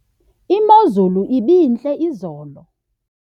imozulu ibintle izolo